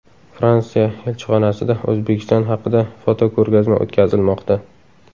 Fransiya elchixonasida O‘zbekiston haqida fotoko‘rgazma o‘tkazilmoqda.